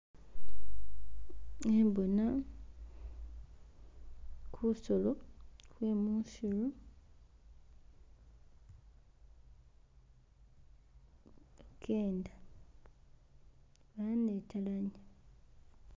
Khembona gusolo gwe mwisiru gugenda gwanetelemo.